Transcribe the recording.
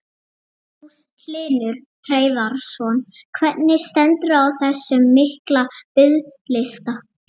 Magnús Hlynur Hreiðarsson: Hvernig stendur á þessum mikla biðlista?